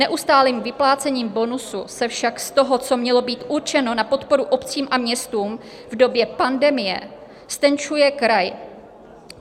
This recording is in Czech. Neustálým vyplácením bonusu se však z toho, co mělo být určeno na podporu obcím a městům v době pandemie, ztenčuje kraj.